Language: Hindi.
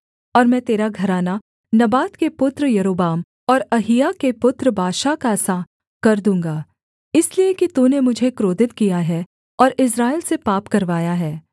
और मैं तेरा घराना नबात के पुत्र यारोबाम और अहिय्याह के पुत्र बाशा का सा कर दूँगा इसलिए कि तूने मुझे क्रोधित किया है और इस्राएल से पाप करवाया है